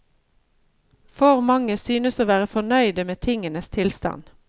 For mange synes å være fornøyde med tingenes tilstand.